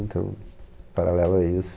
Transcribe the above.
Então, paralelo a isso.